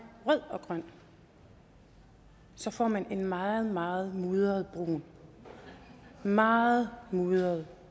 rød og grøn får man en meget meget mudret brun meget mudret